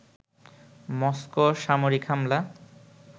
Moscow সামরিক হামলা